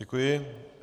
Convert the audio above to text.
Děkuji.